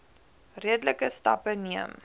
redelike stappe neem